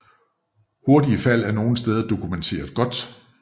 Hurtige fald er nogle steder dokumenteret godt